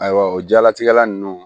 Ayiwa o jaalatigɛ la nunnu